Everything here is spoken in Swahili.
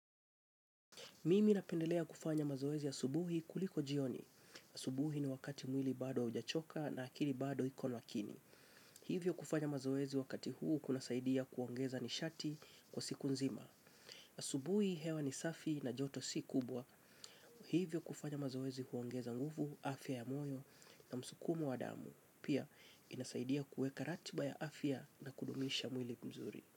Mimi napendelea kufanya mazoezi asubuhi kuliko jioni. Asubuhi ni wakati mwili bado hujachoka na akili bado iko makini. Hivyo kufanya mazoezi wakati huu kuna saidia kuongeza nishati kwa siku nzima. Asubuhi hewa nisafi na joto si kubwa. Hivyo kufanya mazoezi huongeza nguvu afya ya moyo na msukumo wa damu. Pia inasaidia kuweka ratiba ya afya na kudumisha mwili mzuri.